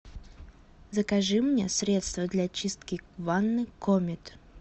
закажи мне средство для чистки ванны комет